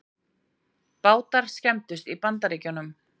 Bátar skemmdust í Bandaríkjunum